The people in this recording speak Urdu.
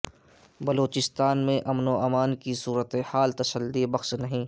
بلوچستان میں امن و امان کی صورتحال تسلی بخش نہیں